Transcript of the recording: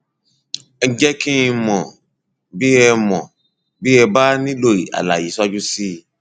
ẹ jẹ kí n mọ bí ẹ mọ bí ẹ bá nílò àlàyé síwájú sí i